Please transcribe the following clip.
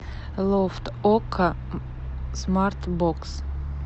лофт окко смарт бокс